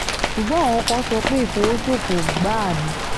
ṣùgbọ́n àwọn kan sọ pé ìfọwọ́sofọ́ gbáà ni